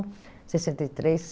sessenta e três